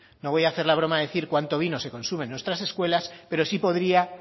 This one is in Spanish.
no voy a hacer la broma de decir cuánto vino se consume en nuestras escuelas pero sí podría